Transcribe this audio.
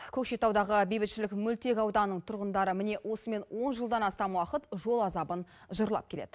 көкшетаудағы бейбітшілік мөлтек ауданының тұрғындары міне осымен он жылдан астам уақыт жол азабын жырлап келеді